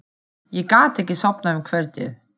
Ég gat ekki sofnað um kvöldið.